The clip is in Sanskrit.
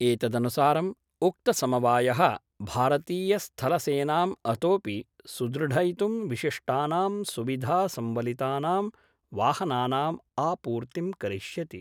एतदनुसारं उक्तसमवाय: भारतीयस्थलसेनां अतोपि सुदृढयितुं विशिष्टानां सुविधासम्वलितानां वाहनानाम् आपूर्तिं करिष्यति।